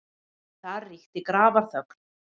Þar ríkti grafarþögn.